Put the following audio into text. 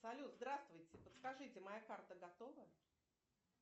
салют здравствуйте подскажите моя карта готова